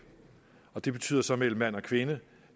og det betyder så mellem mand og kvinde